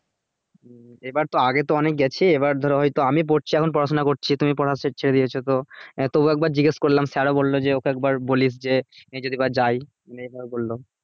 এবার তো আগে তো অনেক গেছি এবার ধরো হয়তো আমি পড়ছি এখন পড়াশোনা করছি তুমি পড়া সে ছেড়ে দিয়েছো তো এ তবুও একবার জিজ্ঞেস করলাম sir ও বললো যে ওকে একবার বলিস যে যদি বা যায় এভাবে বললো